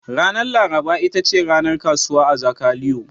Ranar laraba ita ce ranar kasuwa a Zakaliyo.